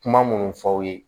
Kuma munnu fɔ aw ye